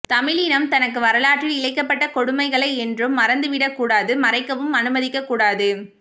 தமிழ் இனம் தனக்கு வரலாற்றில் இழைக்கப்பட்ட கொடுமைகளை என்றும் மறந்து விடக்கூடாது மறைக்கவும் அனுமதிக்கக் கூடாது